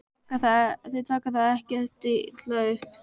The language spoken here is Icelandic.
Þeir taka það ekkert illa upp.